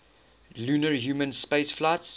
lunar human spaceflights